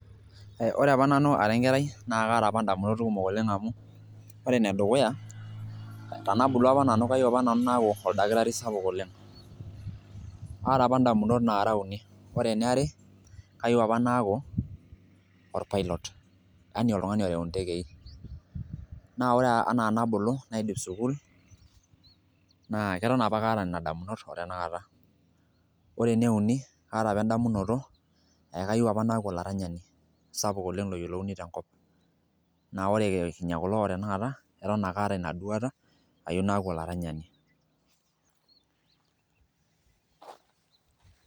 Ore apa nanu ara enkerai naa kaata ndamunot kumok oleng amu ore enedukuya tenabulu apa nanu kayieu apa nanu naaku olakitari sapuk oleng kaata , ndamunot nara uni , ore eniare kayieu apa naaku orpilot yani oltungani oreu intekei naa ore enaa enabulu naidip sukul naa keton apake aata nena damunot otenakata. Ore eneuni kaata apa endamunoto eekayieu apa naaku olaranyani sapuk oleng loningo tenkop ,naa ore kinya kulo otenakata eton ake aata inaduata ayieu naaku olaranyani .